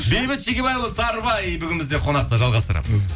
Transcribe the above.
бейбіт шегебайұлы сарыбай бүгін бізде қонақта жалғастырамыз